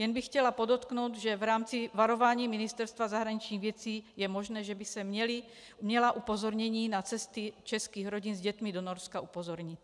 Jen bych chtěla podotknout, že v rámci varování Ministerstva zahraničních věcí je možné, že by se měla upozornění na cesty českých rodin s dětmi do Norska upozornit.